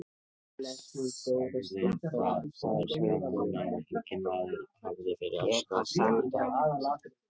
Sagði það og elskaði hana eins og enginn maður hafði fyrr elskað konu.